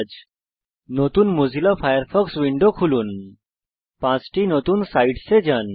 একটি নতুন Mozilla Firefox window খুলুন পাঁচটি নতুন সাইটসে যান